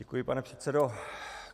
Děkuji, pane předsedo.